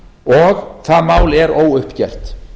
og það mál er óuppgert